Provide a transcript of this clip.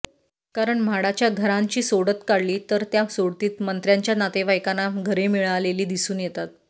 कारण म्हाडाच्या घरांची सोडत काढली तर त्या सोडतीत मंत्र्यांच्या नातेवाइकांना घरे मिळालेली दिसून येतात